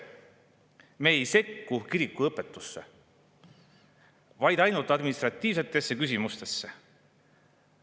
Me ei sekku kiriku õpetusse, vaid ainult administratiivsetesse küsimustesse.